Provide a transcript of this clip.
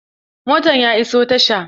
Motan ya iso tasha.